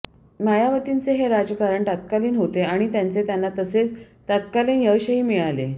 मायावतींचे हे राजकारण तत्कालीन होते आणि त्याचे त्यांना तसेच तत्कालीन यशही मिळाले